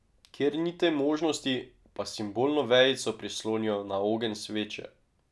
Kjer ni te možnosti, pa simbolno vejico prislonijo na ogenj sveče.